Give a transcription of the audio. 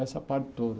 Essa parte toda.